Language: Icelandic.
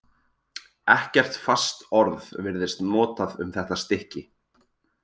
Ekkert fast orð virðist notað um þetta stykki.